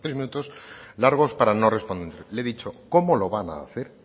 minutos largos para no responder le he dicho cómo lo van hacer